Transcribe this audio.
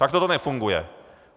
Takto to nefunguje.